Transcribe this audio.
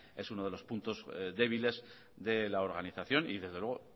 es uno de los puntos débiles de la organización y desde luego